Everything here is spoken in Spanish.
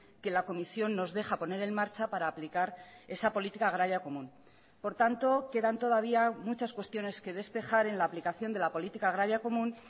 que la comisión nos deja poner en marcha para aplicar esa política agraria común por tanto quedan todavía muchas cuestiones que despejar en la aplicación de la política agraria común